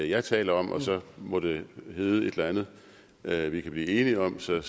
jeg taler om så må det hedde et eller andet vi kan blive enige om så det